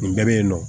Nin bɛɛ bɛ yen nɔ